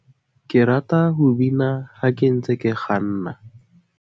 ke rata ho bina ha ke ntse ke kganna